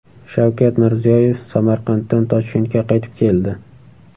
Shavkat Mirziyoyev Samarqanddan Toshkentga qaytib keldi.